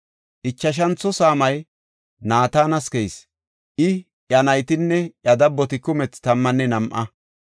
Ichashantho saamay Nataanas keyis; I, iya naytinne iya dabboti kumethi tammanne nam7a.